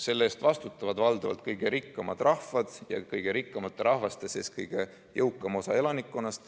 Selle eest vastutavad valdavalt kõige rikkamad rahvad ja kõige rikkamate rahvaste sees kõige jõukam osa elanikkonnast.